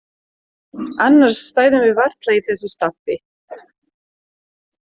Annars stæðum við varla í þessu stappi.